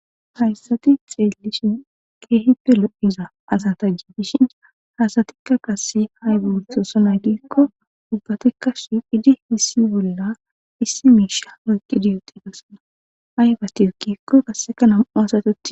hayssati xeellishin keehippe lo7iza asanta giidishin haasatikka gassi hay be oothosona giikko ubbatikka sh idi hissi bolla issi miisha oyqqidi yooqi gassona aybati ekkikko basseka nam7u asati